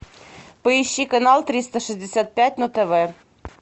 поищи канал триста шестьдесят пять на тв